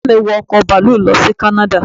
Bàbá mi wọ ọkọ̀ bàálù lọ sí kánáda